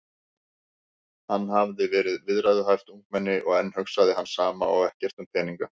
Hann hafði verið viðræðuhæft ungmenni og enn hugsaði hann sama og ekkert um peninga.